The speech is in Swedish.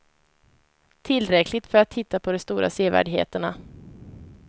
Tillräckligt för att titta på de stora sevärdheterna.